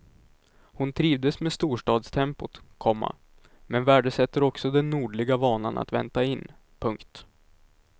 Hon trivdes med storstadstempot, komma men värdesätter också den nordliga vanan att vänta in. punkt